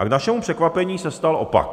A k našemu překvapení se stal opak.